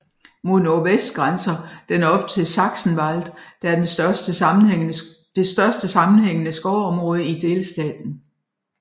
Mod nordvest grænser den op til Sachsenwald der er det største sammenhængende skovområde i delstaten